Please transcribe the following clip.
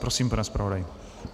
Prosím, pane zpravodaji.